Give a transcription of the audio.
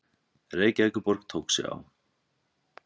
Reykjavíkurborg tók sig á.